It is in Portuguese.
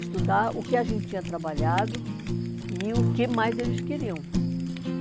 Estudar o que a gente tinha trabalhado e o que mais eles queriam.